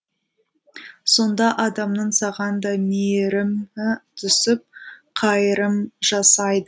сонда адамның саған да мейірімі түсіп қайырым жасайды